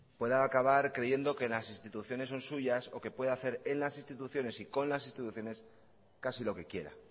puede acabar creyendo que las instituciones son suyas o que puede hacer en las instituciones y con las instituciones casi lo que quiera